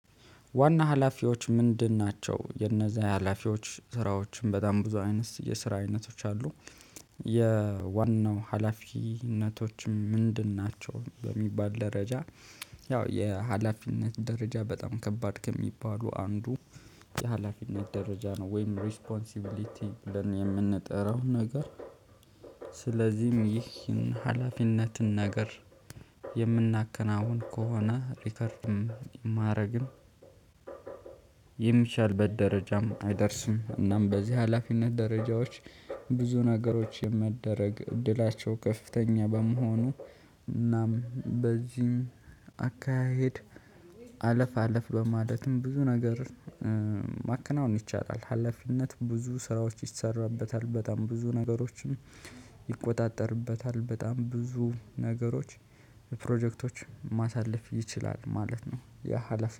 ዋና ኃላፊዎቹ ምንድን ናቸው? የነዛ የሀላፊዎች ስራዎችም በጣም ብዙ አይነት የስራ አይነቶች አሉ። የዋናው ሀላፊነቶችም ምንድን ናቸው? በሚባል ደረጃ ያው የ ሀላፊነት ደረጃ በጣም ከባድ ከሚባሉ አንዱ የሀላፊነት ደረጃ ነው። ወይም ሪስፖንሲቢሊቲ ለኔ የምንጠራው ነገር ስለዚህም ይህን ሀላፊነትን ነገር የምናከናውን ከሆነ ሪከርድም ማረግም የሚሻልበት ደረጃም አይደርስም እናም በዚህ ሀላፊነት ደረጃዎች ብዙ ነገሮች የመደረግ እድላቸው ከፍተኛ በመሆኑ እናም በዚህም አካሄድ አለፍ አለፍ በማለትም ብዙ ነገር ማከናወን ይቻላል። ሀላፊነት ብዙ ስራዎች ይሰራበታል በጣም ብዙ ነገሮችም ይቆጣጠርበታል በጣም ብዙ ነገሮች ፕሮጀክቶች ማሳለፍ ይችላል ማለት ነው ያ ሀላፊ